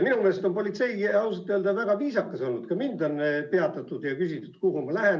Minu meelest on politsei ausalt öelda väga viisakas olnud, ka mind on peatatud ja küsitud, kuhu ma lähen.